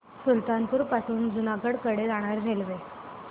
सुल्तानपुर पासून जुनागढ कडे जाणारी रेल्वे